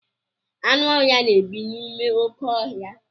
Anụ ọhịa na-ebi n'ime oké ọhịa.